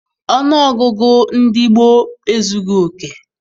Ọnụọgụgụ ndị gboo ezughị oke.